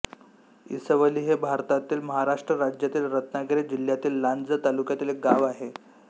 इसवली हे भारतातील महाराष्ट्र राज्यातील रत्नागिरी जिल्ह्यातील लांजा तालुक्यातील एक गाव आहे